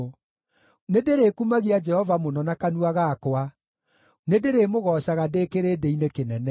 Nĩndĩrĩkumagia Jehova mũno na kanua gakwa; nĩndĩrĩmũgoocaga ndĩ kĩrĩndĩ-inĩ kĩnene.